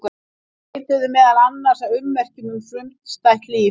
Þau leituðu meðal annars að ummerkjum um frumstætt líf.